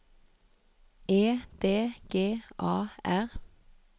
E D G A R